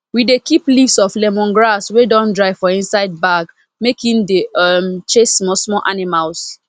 we dey keep leaves of lemongrass wey don dry for inside bag make e dey um chase small small animals